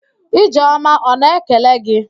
Ijeọma ọ na-ekele gị??